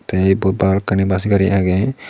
ta ebot balokkani bus gari agey.